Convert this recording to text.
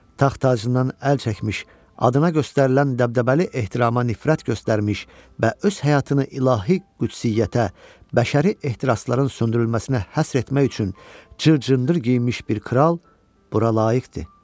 Taxt-tacından əl çəkmiş, adına göstərilən dəbdəbəli ehtirama nifrət göstərmiş və öz həyatını ilahi qüdsiyyətə, bəşəri ehtirasların söndürülməsinə həsr etmək üçün cır-cındır geyinmiş bir kral bura layiqdir.